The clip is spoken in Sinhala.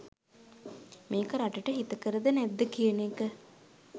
මේක රටට හිතකරද නැද්ද කියන එක